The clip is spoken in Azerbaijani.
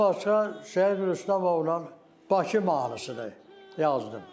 Ondan başqa Şəyid Rüstəmovla Bakı mahnısı da yazdım.